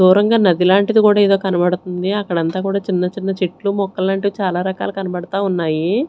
దూరంగా నది లాంటిది కూడా ఏదో కనబడుతుంది అక్కడంతా కూడా చిన్న చిన్న చెట్లు మొక్కలు లాంటివి చాలా రకాలు కనబడతా ఉన్నాయి.